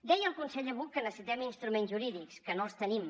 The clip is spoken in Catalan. deia el conseller buch que necessitem instruments jurídics que no els tenim